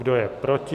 Kdo je proti?